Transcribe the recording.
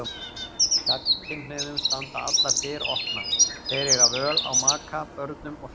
Gagnkynhneigðum standa allar dyr opnar, þeir eiga völ á maka, börnum og fjölskyldu.